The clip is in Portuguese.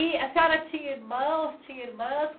E a senhora tinha irmãos, tinha irmãs?